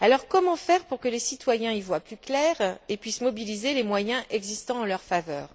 Comment faire pour que les citoyens y voient plus clair et puissent mobiliser les moyens existant en leur faveur?